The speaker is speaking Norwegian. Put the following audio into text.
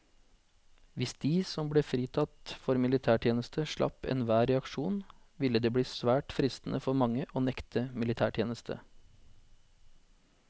Hvis de som ble fritatt for militærtjeneste slapp enhver reaksjon, ville det bli svært fristende for mange å nekte militætjeneste.